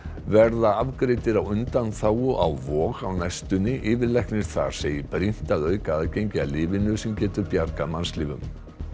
verða afgreiddir á undanþágu á Vog á næstunni yfirlæknir þar segir brýnt að auka aðgengi að lyfinu sem getur bjargað mannslífum